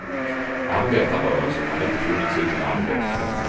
Arbetarrörelsen hade inte funnits utan arbetare.